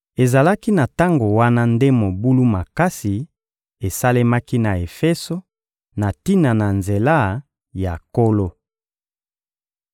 Ezalaki na tango wana nde mobulu makasi esalemaki na Efeso na tina na Nzela ya Nkolo.